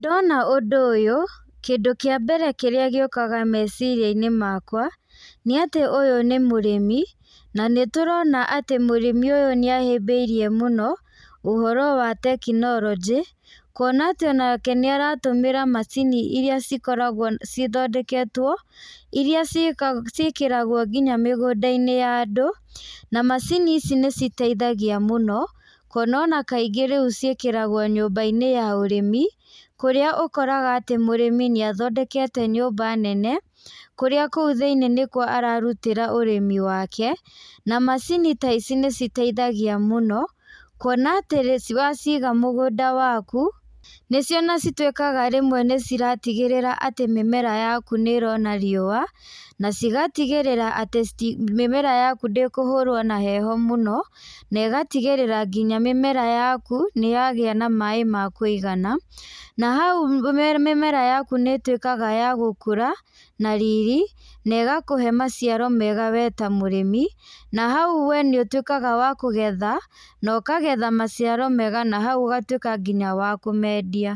Ndona ũndũ ũyũ, kĩndũ kĩa mbere kĩrĩa gĩũkaga meciria-inĩ makwa, nĩ atĩ ũyũ nĩ mũrĩmi. Na nĩtũrona atĩ mũrĩmi ũyũ nĩ ahĩmbĩirie mũno ũhoro wa tekinoronjĩ, kuona atĩ onake nĩ aratũmĩra macini iria ikoragwo cithondeketwo, iria ciĩkĩragwo nginya mĩgũnda-inĩ ya andũ. Na macini ici nĩciteithagia mũno kuona ona kaingĩ rĩu ciĩkĩragwo nyũmba-inĩ ya ũrĩmi, kũrĩa ũkoraga atĩ mũrĩmi ñĩ athondekete nyũmba nene, kũrĩa kũu thĩinĩ nĩ ararutĩra ũrĩmi wake. Na macini ta ici nĩciteithagia mũno kuona atĩ waciiga mũgũnda waku, nĩcio cituĩkaga rĩmwe nĩciratigĩrĩra atĩ mĩmera yaku nĩ ĩrona riũa na cigatigĩrĩra atĩ mĩmera yaku ndĩkũhũrwo na heho mũno, na ĩgatigĩrĩra nginya mĩmera yaku nĩyagĩa na maĩ ma kũigana. Na hau mimera yaku nĩ ĩtuĩkaga ya gũkũra na riri na ĩgakũhe maciaro mega we ta mũrĩmi. Na hau nĩũtuĩkaga wa kũgetha, na ũkagetha maciaro mega na hau ũgatuĩka nginya wa kũmendia.